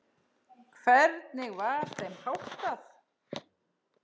Hvernig var þeim háttað?